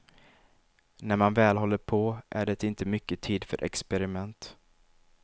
När man väl håller på är det inte mycket tid för experiment.